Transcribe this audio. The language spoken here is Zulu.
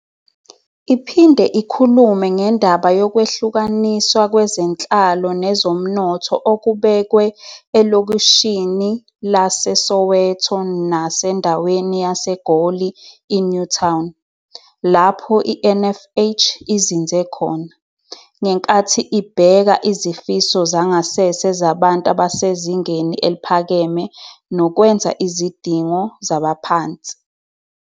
Iphinde ikhulume ngendaba yokwehlukaniswa kwezenhlalo nezomnotho okubekwe elokishini laseSoweto nasendaweni yaseGoli iNew Town, lapho i-NFH izinze khona, ngenkathi ibheka izifiso zangasese zabantu abasezingeni eliphakeme nokwenza izidingo zabaphansi.